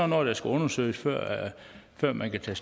noget der skal undersøges før man kan tage